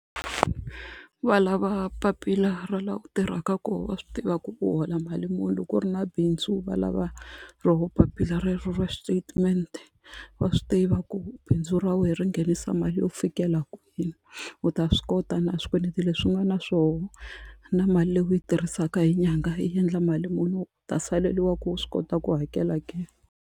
Va lava papila ra laha u tirhaka kona wa swi tiva ku u hola mali muni loko u ri na bindzu va lava ro papila rero ra statement wa swi tiva ku bindzu ra wena ri nghenisa mali yo fikela kwini u ta swi kota na swikweleti leswi u nga na swona na mali leyi u yi tirhisaka hi nyangha yi endla mali muni u ta saleriwa ku u swi kota ku hakela ke.